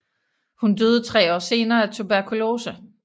Hun døde tre år senere af tuberkulose